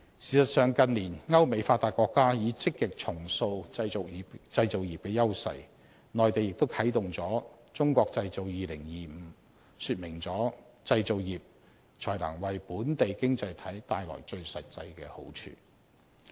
事實上，近年歐美發達國家已積極重塑製造業的優勢，內地亦啟動了"中國製造 2025"， 說明了製造業才能為本地經濟體帶來最實際的好處。